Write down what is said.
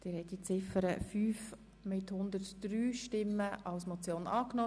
Sie haben Ziffer 5 der Motion angenommen.